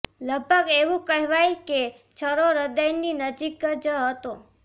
લગભગ એવું કહેવાય કે છરો હૃદયની નજીક જ હતો